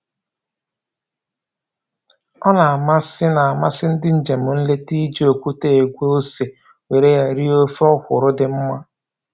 Ọ na-amasị na-amasị ndị njem nleta iji okwute egwe ose were ya rie ofe ọkwụrụ dị mma